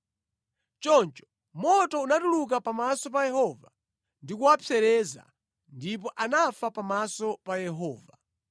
Choncho moto unatuluka pamaso pa Yehova ndi kuwapsereza, ndipo anafa pamaso pa Yehova.